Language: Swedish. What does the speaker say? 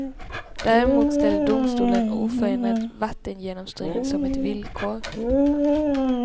Däremot ställer domstolen oförändrad vattengenomströmning som ett villkor.